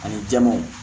Ani jamaw